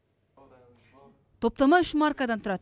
топтама үш маркадан тұрады